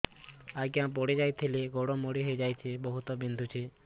ଆଜ୍ଞା ପଡିଯାଇଥିଲି ଗୋଡ଼ ମୋଡ଼ି ହାଇଯାଇଛି ବହୁତ ବିନ୍ଧୁଛି